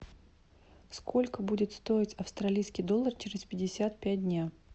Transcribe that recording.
сколько будет стоить австралийский доллар через пятьдесят пять дня